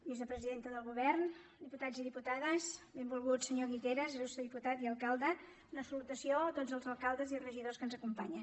vicepresidenta del govern diputats i diputades benvolgut senyor guiteras il·lustre diputat i alcalde una salutació a tots els alcaldes i regidors que ens acompanyen